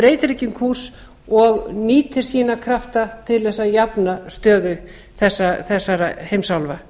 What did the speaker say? breytir ekki um kúrs og nýtir sína krafta til að jafna stöðu þessara heimsálfa